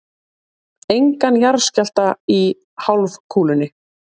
Engan jarðskjálfta í hálfkúlunni.